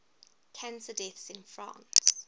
cancer deaths in france